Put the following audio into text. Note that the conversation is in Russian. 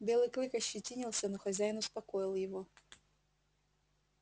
белый клык ощетинился но хозяин успокоил его